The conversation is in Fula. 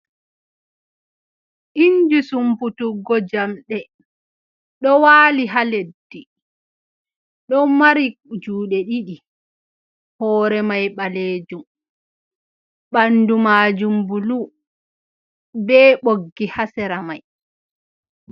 Inji sumputuggo jamɗe ɗo waali ha leddi, ɗo mari juuɗe ɗiɗi hoore mai ɓalejum, ɓandu maajum bulu be ɓoggi ha sera mai.